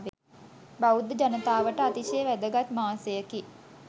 බෞද්ධ ජනතාවට අතිශය වැදගත් මාසයකි.